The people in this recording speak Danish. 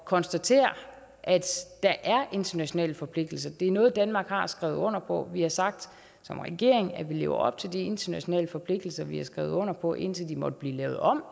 konstatere at der er internationale forpligtelser det er noget danmark har skrevet under på vi har sagt som regering at vi lever op til de internationale forpligtelser vi har skrevet under på indtil de eventuelt måtte blive lavet om